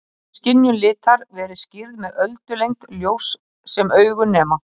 Hér hefur skynjun litar verið skýrð með öldulengd ljóss sem augun nema.